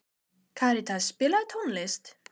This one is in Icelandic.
Karítas, spilaðu tónlist.